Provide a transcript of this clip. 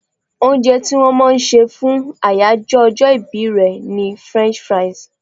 Oúnje tí wón máa se fún àyájó ojó ibí re ni French fries